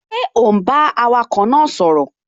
Ṣé ò ún bá awakọ̀ náà sọ̀rọ̀?